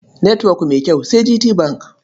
Netwok mai kyau sai GTBank.